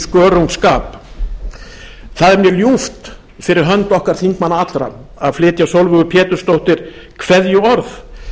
skörungsskap það er mér ljúft fyrir hönd okkar þingmanna allra að flytja sólveigu pétursdóttur kveðjuorð